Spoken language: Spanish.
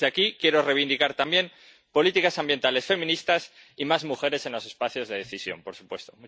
Desde aquí quiero reivindicar también políticas ambientales feministas y más mujeres en los espacios de decisión, por supuesto.